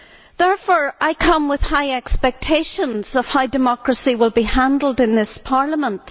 Therefore, I come with high expectations of how democracy will be handled in this Parliament.